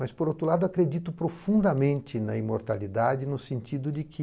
Mas, por outro lado, acredito profundamente na imortalidade no sentido de que